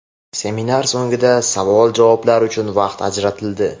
Seminar so‘ngida savol-javoblar uchun vaqt ajratildi.